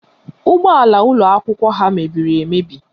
Ụgbọala ụlọakwụkwọ ha mebiri emebi